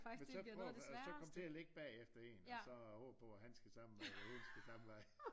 Men så prøv øh så kom til at ligge bagefter en og håbe på at han skal samme vej eller hun skal samme vej